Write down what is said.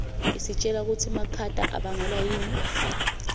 isitjela kutsi makhata abangelwa yini